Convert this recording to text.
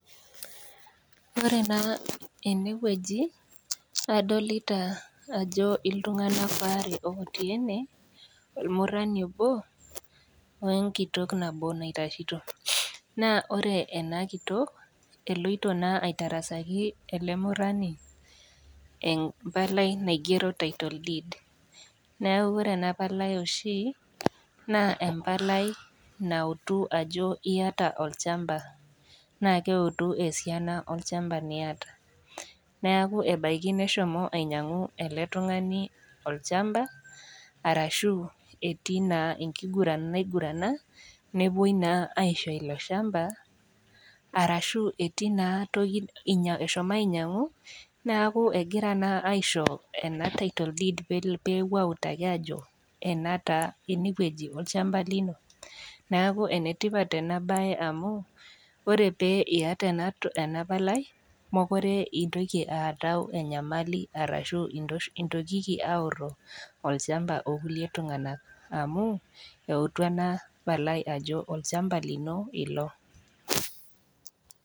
Ore naa ene wueji nadolita ajo iltung'ana aare ootii ene wueji, olmurani obo we enkitok nabo naitashito . Naa ore ena kitok, naa eloito naa aitarasaki ele murani empalai naigero ajo title deed . Neaku Kore ena Palai oshi naa empalai nautu ajo iata olchamba naa eutu esiana olchamba niata, neaku ebaiki neshomo ainyang'u ele tung'ani olchamba arashu etii naa enkiguran naigurana, newuoi naa aisho ilo chamba , arashu naa etii toki, eshomo ainyang'u egira naa aisho ena title deed peutu ajo ene wueji olchamba lino, neaku enetipat ena baye amuu ore pee iata ena Palai mekure intoki aatau enyamali arashu intokiki aoro olchamba o kulie tung'ana amu elo ajo olchamba lino ilo.